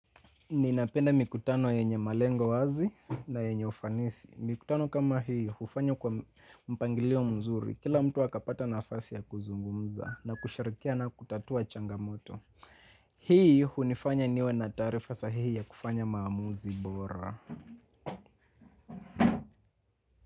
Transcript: Ninapenda mikutano yenye malengo wazi na yenye ufanisi. Mikutano kama hiyo, hufanywa kwa mpangilio mzuri. Kila mtu akapata nafasi ya kuzungumza na kushirikia na kutatua changamoto. Hii hunifanya niwe na taarifa sahihi ya kufanya maamuzi bora.